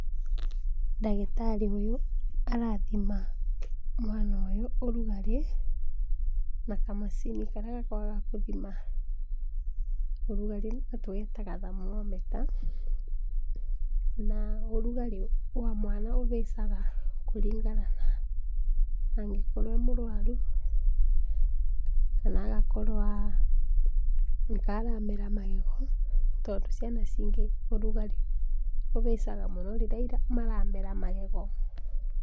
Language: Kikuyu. Ndagĩtarĩ ũyũ, arathima mwana ũyũ ũrũgarĩ na kamacini karĩa gakoragwa gakũthima ũrũgarĩ nĩko tũgetaga thermometer na ũrugarĩ wa mwana ĩhaicaga mwana angĩkorwo emũrwaru kana agakorwa nĩkaramera magego tondũ ciana cingĩ ũrũgarĩ ũhaicaga mũno rĩrĩa maramera magego